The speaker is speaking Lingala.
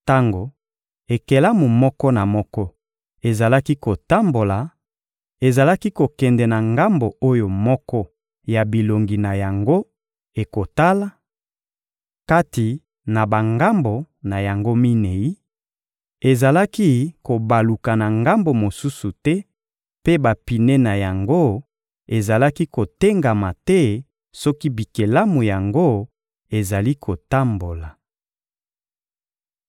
Tango ekelamu moko na moko ezalaki kotambola, ezalaki kokende na ngambo oyo moko ya bilongi na yango ekotala, kati na bangambo na yango minei; ezalaki kobaluka na ngambo mosusu te mpe bapine na yango ezalaki kotengama te soki bikelamu yango ezali kotambola.